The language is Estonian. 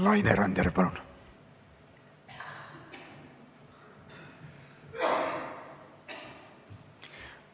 Laine Randjärv, palun!